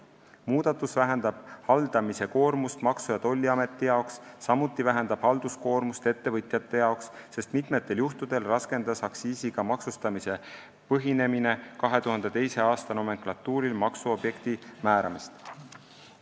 Muudatus vähendab haldamise koormust Maksu- ja Tolliameti jaoks, samuti vähendab halduskoormust ettevõtjate jaoks, sest mitmetel juhtudel raskendas aktsiisiga maksustamisel põhinemine 2002. aasta nomenklatuuril maksuobjekti määramist.